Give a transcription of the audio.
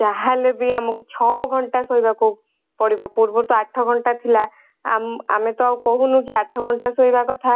ଯାହା ହେଲେ ବି ଆମକୁ ଛଅ ଘଣ୍ଟା ଶୋଇବାକୁ ପଡିବ ପୂର୍ବରୁ ତ ଆଠ ଘଣ୍ଟା ଥିଲା ଆମେ ଆମେ ତ କହୁନୁ ଯେ ଆଠ ଘଣ୍ଟା ଶୋଇବା କଥା